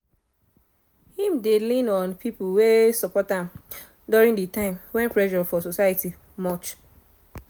im dey lean on pipo wey support am during de time wen pressure for society much